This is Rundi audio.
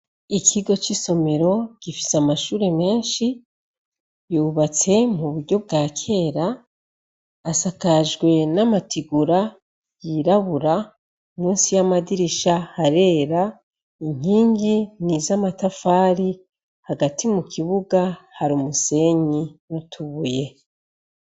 Ikigo c'isomero gifise amashure menshi yubatse mu buryo bwa kera asakajwe n'amatigura yirabura musi y'amadirisha harera inkingi n'izamatafari hagati mu kibuga Hari umusenyi n'utubuye.